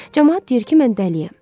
Camaat deyir ki, mən dəliyəm.